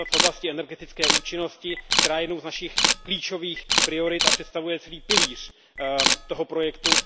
Například v oblasti energetické účinnosti, která je jednou z našich klíčových priorit a představuje celý pilíř toho projektu.